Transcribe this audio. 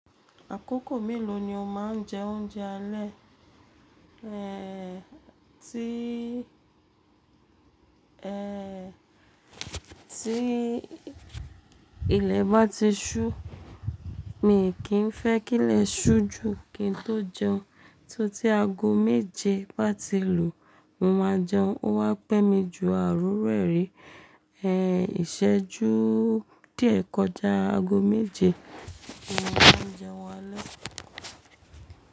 Àkókò mélòó ni o máa ń jẹ oúnjẹ alẹ́? Ehn, tí, ehn, tí ilẹ̀ bá ti sú, mi kì í fẹ́ kí ilẹ̀ sú jù kí n tó jẹun, tí tí ago méje bá ti lù, mo máa jẹun. Ó wá pẹ́ mi jù à o riru ẹ́ rí, ehn, ìsẹ́jú díẹ̀ kọjá ago méje, mo má n jẹun alẹ́.